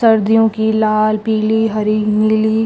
सर्दियों की लाल पीली हरी नीली--